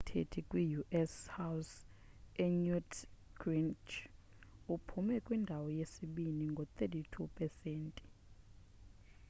owayekubasisithethi kwi-u.s house unewt gingrich uphume kwindawo yesibini ngo-32 pesenti